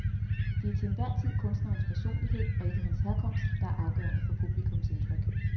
Det er til enhver tid kunstnerens personlighed, og ikke hans herkomst, der er afgørende for publikums indtryk.